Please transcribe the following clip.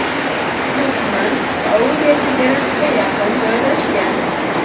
Ushbu tuman Saudiya chegarasiga yaqin joylashgan.